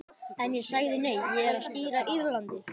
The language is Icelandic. En ég sagði nei, ég er að stýra Írlandi.